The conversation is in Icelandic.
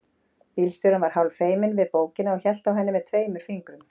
Bílstjórinn var hálf feiminn við bókina og hélt á henni með tveimur fingrum.